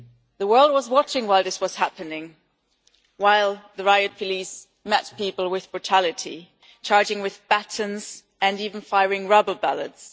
The world was watching while this was happening, while the riot police met people with brutality, charging with batons and even firing rubber bullets.